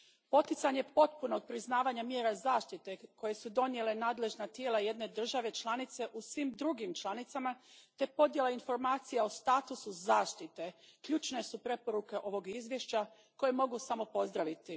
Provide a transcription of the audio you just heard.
Poticanje potpunog priznavanja mjera zaštite koje su donijela nadležna tijela jedne države članice u svim drugim članicama te podjela informacija o statusu zaštite ključne su preporuke ovog izvješća koje mogu samo pozdraviti.